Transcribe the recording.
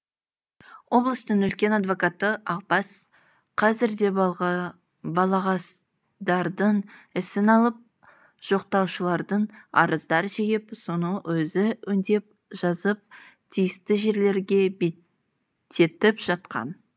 облыстың үлкен адвокаты ақбас қазірде балағаздардың ісін алып жоқтаушылардан арыздар жиып соны өзі өңдеп жазып тиісті жерлерге беттетіп жатқан